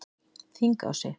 Þingási